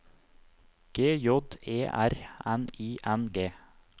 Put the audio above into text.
G J E R N I N G